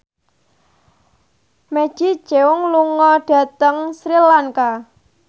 Maggie Cheung lunga dhateng Sri Lanka